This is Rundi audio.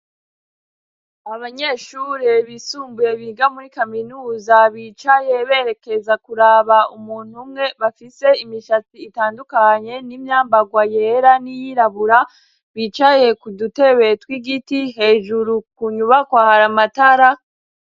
Abanyeshure bisumbuye biga muri kaminuza bicaye berekeza kuraba umuntu umwe, bafise imishatsi itandukanye n'imyambagwa yera n'iyirabura, bicaye ku dutebe tw'igiti, hejuru ku nyubakwa hari amatara.